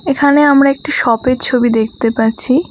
এখানে আমরা একটি শপের ছবি দেখতে পাচ্ছি।